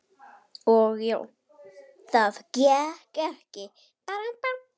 Og já, það gekk ekki.